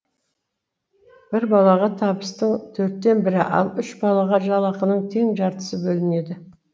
бір балаға табыстың төрттен бірі ал үш балаға жалақының тең жартысы бөлінеді